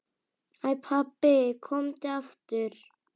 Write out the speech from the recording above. Æ pabbi, komdu aftur.